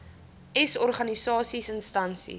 s organisasies instansies